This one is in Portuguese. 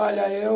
Olha, eu...